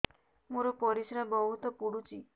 ମୋର ପରିସ୍ରା ବହୁତ ପୁଡୁଚି